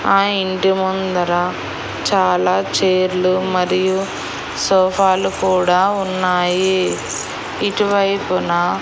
ఆ ఇంటి ముందర చాలా చైర్లు మరియు సోఫాలు కూడా ఉన్నాయి ఇటు వైపున.